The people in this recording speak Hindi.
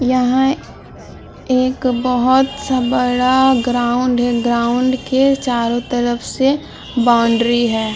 यहाँ एक बहुत सा बड़ा ग्राउंड है ग्राउंड के चारों तरफ से बाउंड्री है।